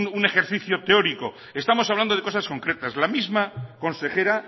un ejercicio teórico estamos hablando de cosas concretas la misma consejera